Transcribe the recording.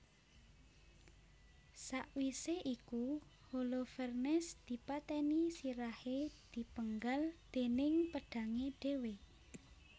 Sawisé iku Holofernes dipatèni sirahé dipenggal déning pedhangé dhéwé